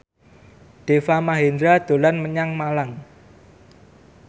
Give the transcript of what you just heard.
Deva Mahendra dolan menyang Malang